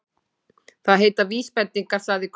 Það heita VÍSbendingar, sagði Kobbi.